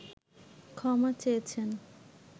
ক্ষমা চেয়েছেন